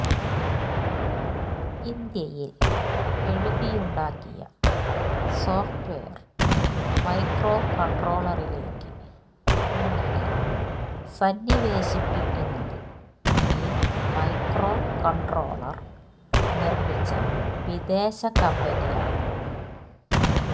ഇന്ത്യയിൽ എഴുതിയുണ്ടാക്കിയ സോഫ്റ്റ്വേർ മൈക്രോകൺട്രോളറിലേക്ക് ഇങ്ങനെ സന്നിവേശിപ്പിക്കുന്നത് ഈ മൈക്രോകൺട്രോളർ നിർമിച്ച വിദേശ കമ്പനിയാണ്